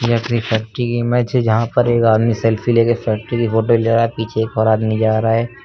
यह factory image है जहां पर एक आदमी सेल्फी लेके फैक्टरी की फोटो ले रहा है। पीछे एक और आदमी जा रहा है।